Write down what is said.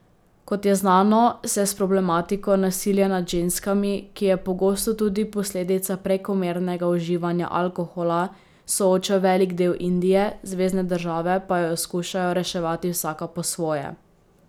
Kot je znano, se s problematiko nasilja nad ženskami, ki je pogosto tudi posledica prekomernega uživanja alkohola, sooča velik del Indije, zvezne države pa jo skušajo reševati vsaka po svoje.